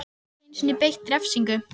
Hann gat ekki einu sinni beitt refsingum.